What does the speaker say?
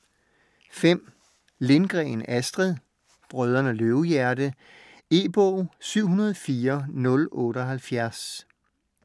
Lindgren, Astrid: Brødrene Løvehjerte E-bog 704078